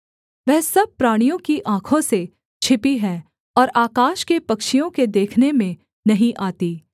वह सब प्राणियों की आँखों से छिपी है और आकाश के पक्षियों के देखने में नहीं आती